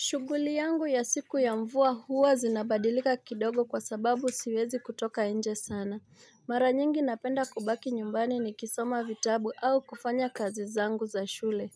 Shuguli yangu ya siku ya mvua huwa zinabadilika kidogo kwa sababu siwezi kutoka nje sana. Mara nyingi napenda kubaki nyumbani nikisoma vitabu au kufanya kazi zangu za shule.